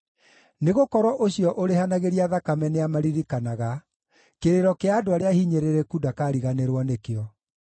Nĩgũkorwo ũcio ũrĩhanagĩria thakame nĩamaririkanaga; kĩrĩro kĩa andũ arĩa ahinyĩrĩrĩku ndakariganĩrwo nĩkĩo.